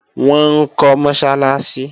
Wọ́n ń kọ́ Mọ́sálásí